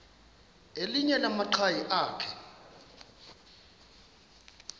elinye lamaqhaji akhe